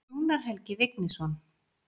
Rúnar Helgi Vignisson.